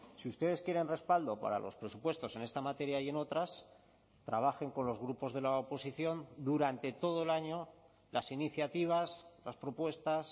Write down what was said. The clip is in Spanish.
si ustedes quieren respaldo para los presupuestos en esta materia y en otras trabajen con los grupos de la oposición durante todo el año las iniciativas las propuestas